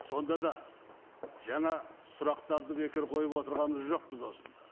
сонда да жаңа сұрақтарды бекер қойып отырғанмыз жоқпыз осында